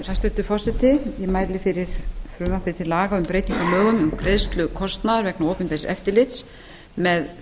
forseti ég mæli fyrir frumvarpi til laga um breytingu á lögum um greiðslu kostnaðar vegna opinbers eftirlits með